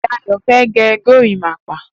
Dayo fẹ̀ gẹ górimàpà